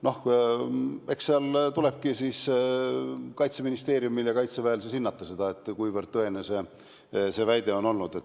Noh, eks siis Kaitseministeeriumil ja Kaitseväel tulebki hinnata, kuivõrd tõene see väide oli.